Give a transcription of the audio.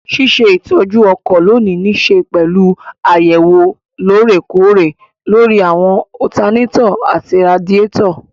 Ṣíṣe ìtọ́jú ọkọ̀ lónìí nííṣe pẹ̀lú àyẹ̀wò lóòrè kóòrè lóri àwọn ọtanátọ̀ àti radíàtọ̀